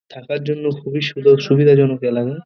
থাকার জন্য খুবই সুদর সুবিধাজনক এলাকা।